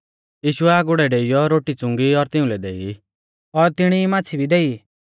यीशुऐ आगुड़ै डेइयौ रोटी च़ुंगी और तिउंलै देई और तिणी ई माच़्छ़ी भी देई